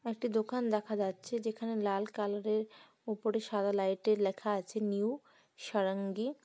একটি দোকান দেখা যাচ্ছে যেখানে লাল কালারের উপরে সাদা লাইটে লেখা আছে নিউ -সারাঙ্গি।